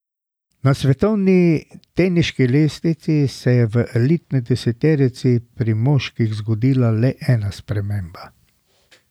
Na svetovni teniški lestvici se je v elitni deseterici pri moških zgodila le ena sprememba.